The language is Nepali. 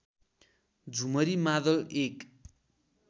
झुमरी मादल एक